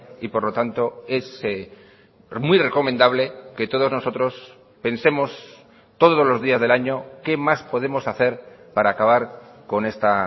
y por lo tanto es muy recomendable que todos nosotros pensemos todos los días del año qué más podemos hacer para acabar con esta